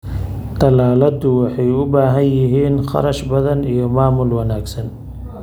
Tallaaladu waxay u baahan yihiin kharash badan iyo maamul wanaagsan.